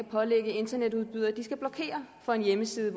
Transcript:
pålægge internetudbydere at de skal blokere for en hjemmeside